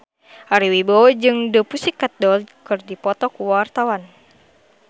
Ari Wibowo jeung The Pussycat Dolls keur dipoto ku wartawan